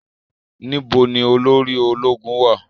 Níbo ni olórí ológun wá à?